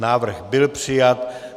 Návrh byl přijat.